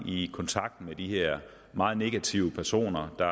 i kontakt med de her meget negative personer der